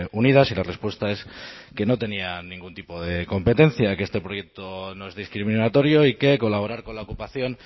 unidas y la respuesta es que no tenía ningún tipo de competencia que este proyecto no es discriminatorio y que colaborar con la ocupación